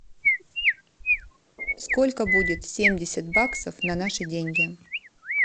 сколько будет семьдесят баксов на наши деньги